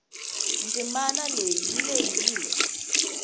ndzimanaleyi yilehile